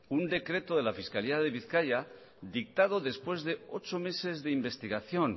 un decreto de la fiscalía de bizkaia dictado después de ocho meses de investigación